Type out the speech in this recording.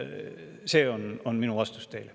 See on minu vastus teile.